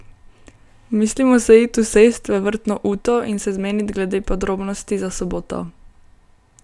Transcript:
Mislimo se it usest v vrtno uto in se zmenit glede podrobnosti za soboto.